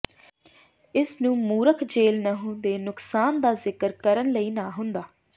ਇਸ ਨੂੰ ਮੂਰਖ ਜੈੱਲ ਨਹੁੰ ਦੇ ਨੁਕਸਾਨ ਦਾ ਜ਼ਿਕਰ ਕਰਨ ਲਈ ਨਾ ਹੁੰਦਾ